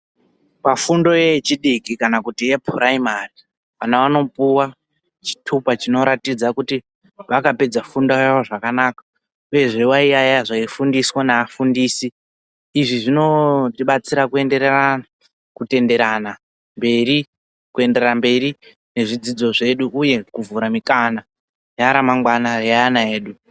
Pafundo yechidiki kana kuti yepuraimari vana vanopuwe chitupa chekuti vakapedze fundo yavo zvakanaka uyezve vaiyaiya zvaifundiswa neafundisi izvi zvinotibatsirana kutendererana kuenderera mberi nezvidzidzo zvedu uye kuvhura mikana yaramangwana reana edu.